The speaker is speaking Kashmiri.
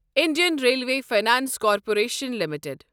Indian Railway Finance Corporation limited